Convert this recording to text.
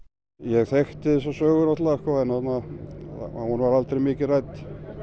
ég þekkti þessa sögu náttúrulega en hún var aldrei mikið rædd